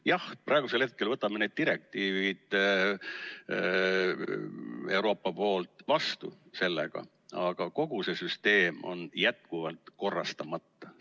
Jah, praegu võtame sellega need direktiivid Euroopast vastu, aga kogu see süsteem on jätkuvalt korrastamata.